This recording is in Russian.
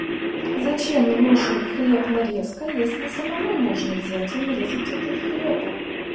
зачем нужен хлеб нарезка если самому можно взять и нарезать этот хлеб